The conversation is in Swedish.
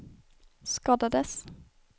skadades